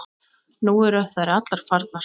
Nú eru þær allar farnar.